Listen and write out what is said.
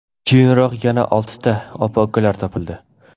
Keyinroq yana oltita opa-ukalar topildi.